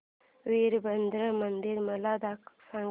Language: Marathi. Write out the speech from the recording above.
वीरभद्रा मंदिर मला सांग